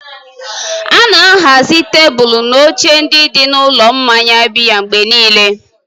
A na-ahazi tebụl na oche ndị dị n'ụlọ mmanya biya mgbe niile.